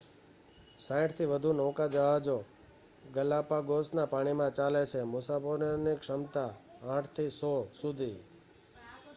60થી વધુ નૌકાજહાજો ગલાપાગોસના પાણીમાં ચાલે છે મુસાફરોની ક્ષમતા 8 થી 100 સુધી